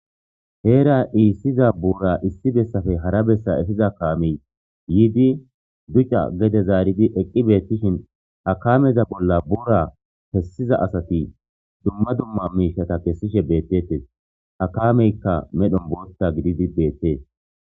Heera issiza buura issi bessape hara bessa eeffiza kaamey yiidi duucca gede zarridi eqqi bettishin ha kaameza bolla buura kessiza assati dumma dumma mishshata kessishe bettetes ha kaameyka medhon booththa giididi bettes.